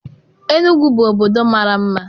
Enugwu bụ obodo mara mma.